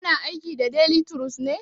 Kana aiki da delituros ne?